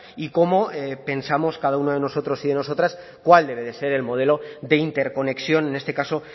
y cómo pensamos cada uno de nosotros y nosotras cuál debe ser el modelo de interconexión en este caso